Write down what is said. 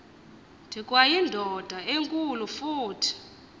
ndikwayindoda enkulu futhi